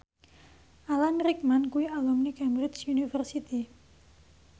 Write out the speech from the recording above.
Alan Rickman kuwi alumni Cambridge University